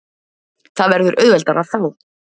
Það verður auðveldara þá.